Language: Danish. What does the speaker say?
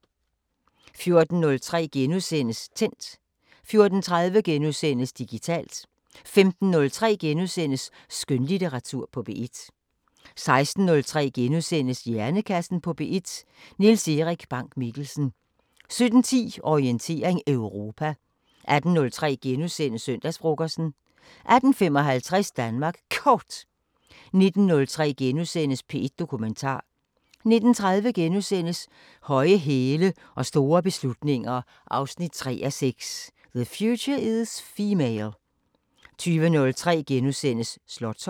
14:03: Tændt * 14:30: Digitalt * 15:03: Skønlitteratur på P1 * 16:03: Hjernekassen på P1: Niels Erik Bank-Mikkelsen * 17:10: Orientering Europa 18:03: Søndagsfrokosten * 18:55: Danmark Kort 19:03: P1 Dokumentar * 19:30: Høje hæle og store beslutninger 3:6 – The future is female * 20:03: Slotsholmen *